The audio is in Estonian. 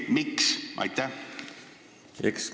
Miks?